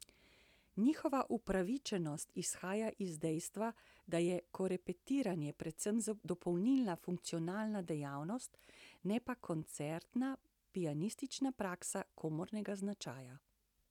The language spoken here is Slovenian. Njihova upravičenost izhaja iz dejstva, da je korepetiranje predvsem dopolnilna funkcionalna dejavnost, ne pa koncertna pianistična praksa komornega značaja.